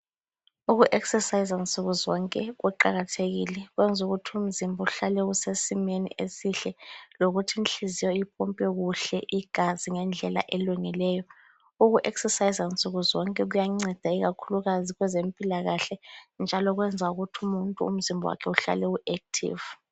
Uku exerciser nsukuzonke kuqakathekile. Kwenza ukuthi umzimba uhlale usesimeni esihle lokuthi inhliziyo ipompe kuhle igazi ngendlela elungileyo. Uku exerciser nsukuzonke kuyanceda ikakhulukazi kwezempilakahle njalo kwenza ukuthi umuntu umzimba wakhe uhlale u active.